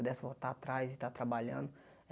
Pudesse voltar atrás e estar trabalhando.